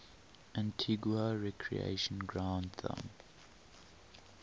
antigua recreation ground thumb